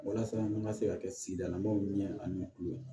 Walasa an ka se ka kɛ sigida lamaw ɲɛ ani tulo ye